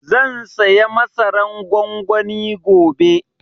Zan saya masaran gwangwani gobe